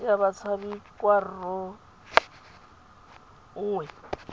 ya batshabi kwa rro nngwe